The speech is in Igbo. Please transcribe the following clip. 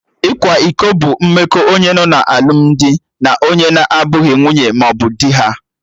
Ịkwa iko bụ mmekọ onye nọ na alụmdi na onye na abụghị nwunye mmaọbụ dị ha